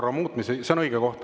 Jaa, see on õige aeg.